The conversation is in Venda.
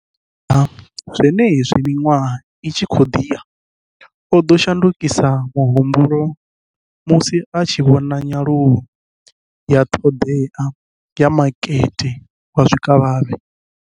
Fhedziha, zwenezwi miṅwaha i tshi khou ḓi ya, o ḓo shandukisa muhumbulo musi a tshi vhona nyaluwo ya ṱhoḓea ya makete wa zwikavhavhe.